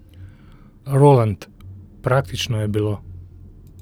Roland, praktično je bilo.